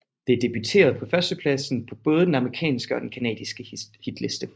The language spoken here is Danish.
Det debuterede på førstepladsen på både den amerikanske og den canadiske hitliste